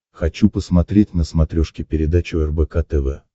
хочу посмотреть на смотрешке передачу рбк тв